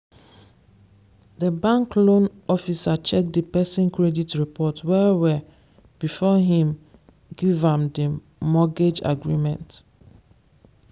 the bank loan officer check the person credit report well well before him give am the mortgage agreement.